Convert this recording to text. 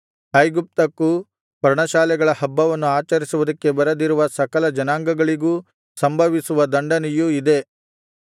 ಐಗುಪ್ತಕ್ಕೂ ಪರ್ಣಶಾಲೆಗಳ ಹಬ್ಬವನ್ನು ಆಚರಿಸುವುದಕ್ಕೆ ಬರದಿರುವ ಸಕಲ ಜನಾಂಗಗಳಿಗೂ ಸಂಭವಿಸುವ ದಂಡನೆಯು ಇದೇ